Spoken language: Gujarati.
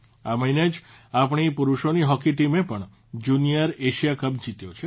આ મહિને જ આપણી પુરૂષોની હોકી ટીમે પણ જુનિયર એશિયા કપ જીત્યો છે